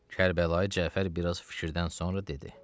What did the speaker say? Kərbəlayı Cəfər biraz fikirdən sonra dedi: